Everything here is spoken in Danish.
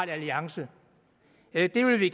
er i arbejde hvilke